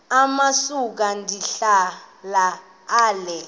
amasuka ndihlala ale